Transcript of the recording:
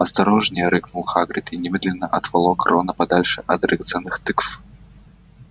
осторожнее рыкнул хагрид и немедленно отволок рона подальше от драгоценных тыкв